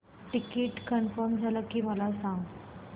ticket confirm झाले की मला सांग